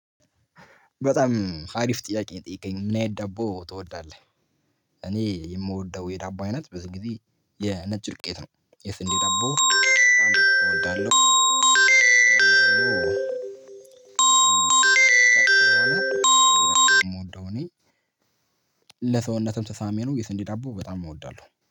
በጣም አሪፍ ጥያቄ የጠየቀኝ ምናይነት ዳቦ ትወዳለህ? እኔ የምወደው የዳቦ አይነት ብዙ ጊዜ የነጭ ዱቄት ነው የስንዴ ዳቦ በጣም እወዳለሁ። ለሰውነትም ተሳሚ ነው የስንዲ ዳቦ በጣም እወዳለሁ